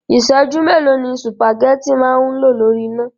Ìsẹ̀jú mélòó ni sùpàgétì máa ń lò lórí iná?